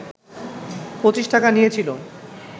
পঁচিশ টাকা নিয়েছিল